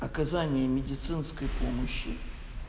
оказание медицинской помощи